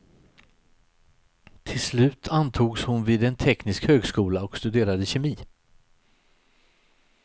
Till slut antogs hon vid en teknisk högskola och studerade kemi.